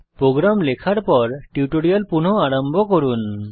programme লেখার পর tutorial পুনঃ আরম্ভ করুন